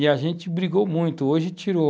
E a gente brigou muito, hoje tirou.